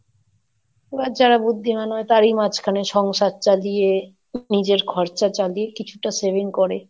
এবার যারা বুদ্ধিমান হয় তারই মাঝখানে সংসার চালিয়ে, নিজের খরচা চালিয়ে কিছুটা saving করে